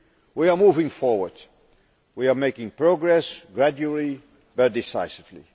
we are moving forward, we are making progress gradually, but decisively.